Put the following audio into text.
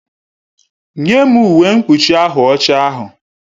Nye m uwe mkpuchi ahụ ọcha ahụ!